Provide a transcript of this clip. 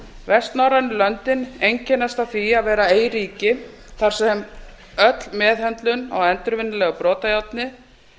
vestnorrænu löndin einkennast af því að vera eyríki þar sem öll meðhöndlun á endurvinnanlegu brotajárni